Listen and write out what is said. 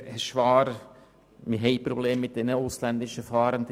Wir haben Probleme mit den ausländischen Fahrenden;